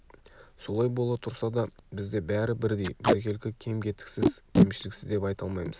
солай бола тұрса да бізде бәрі бірдей біркелкі кем-кетіксіз кемшіліксіз деп айта алмаймыз